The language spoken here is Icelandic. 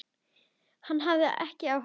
Hann hafði ekki áhuga.